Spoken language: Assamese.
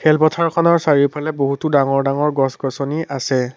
খেল পথাৰখনৰ চাৰিওফালে বহুতো ডাঙৰ ডাঙৰ গছ গছনি আছে।